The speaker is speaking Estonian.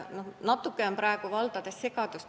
Natuke on praegu valdades segadust.